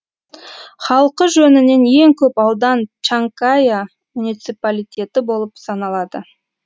халқы жөнінен ең көп аудан чанкая муниципалитеті болып саналады